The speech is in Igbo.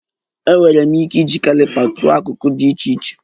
Enwere m ike iji caliper tụọ akụkụ dị iche iche